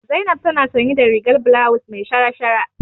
Zainab tana sanye da rigar bulawus me shara-shara.